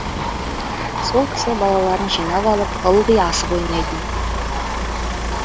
сол кісі балаларын жинап алып ылғи асық ойнайтын